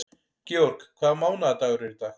George, hvaða mánaðardagur er í dag?